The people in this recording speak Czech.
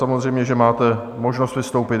Samozřejmě že máte možnost vystoupit.